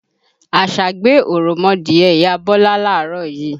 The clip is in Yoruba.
Àṣá gbé òròmọdìẹ ìyá Bọ́lá láàárọ̀ yí